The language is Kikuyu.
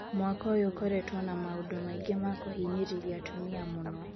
Mwaka ũyũ ũkoretwo na maũndũ maingĩ ma kũhinyĩrĩria atumia mũno.